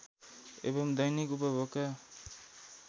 एवं दैनिक उपभोगका